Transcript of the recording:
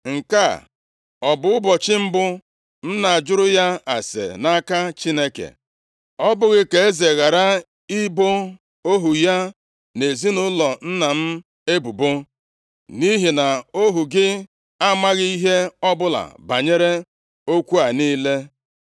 Nke a ọ bụ ụbọchị mbụ m na-ajụrụ ya ase nʼaka Chineke? Ọ bụghị! Ka eze ghara ibo ohu ya na ezinaụlọ nna m ebubo, nʼihi na ohu gị amaghị ihe ọbụla banyere okwu a niile.”